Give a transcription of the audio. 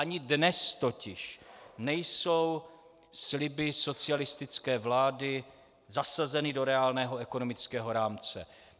Ani dnes totiž nejsou sliby socialistické vlády zasazeny do reálného ekonomického rámce.